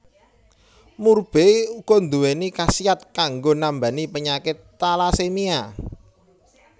Murbei uga nduwéni khasiat kanggo nambani penyakit talasemia